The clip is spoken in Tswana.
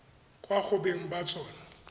kwa go beng ba tsona